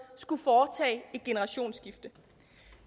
skulle foretage et generationsskifte